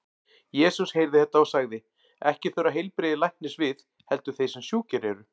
Jesús heyrði þetta og sagði: Ekki þurfa heilbrigðir læknis við, heldur þeir sem sjúkir eru.